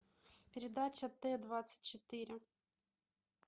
передача т двадцать четыре